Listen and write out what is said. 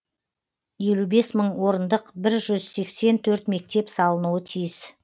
елу бес мың орындық бір жүз сексен төрт мектеп салынуы тиіс